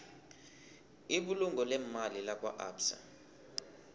ibulungo leemali lakwaabsa